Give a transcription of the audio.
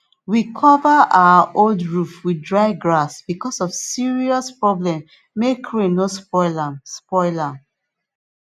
we cover our old roof with dry grass because of serious problem make rain no spoil am spoil am